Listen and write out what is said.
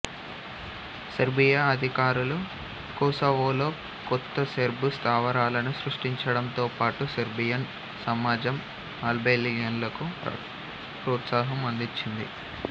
Serbia అధికారులు కొసావోలో కొత్త సెర్బు స్థావరాలను సృష్టించడంతోపాటు సెర్బియన్ సమాజం అల్బేనియన్లకు ప్రోత్సాహం అందించింది